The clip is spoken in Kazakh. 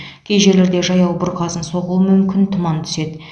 кей жерлерде жаяу бұрқасын соғуы мүмкін тұман түседі